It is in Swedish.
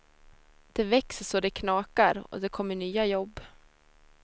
Det växer så det knakar, och det kommer nya jobb.